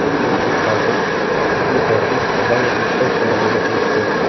Hech shubhasiz, ushbu tashrif g‘oyat yuksak darajada o‘tdi.